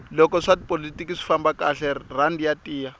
loko swa tipolotiki swi famba kahle rhandi ya tiya